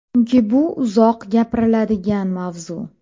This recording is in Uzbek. Chunki bu uzoq gapiriladigan mavzu.